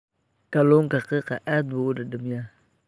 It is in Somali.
Kalluunka qiiqa aad buu u dhadhamiyaa.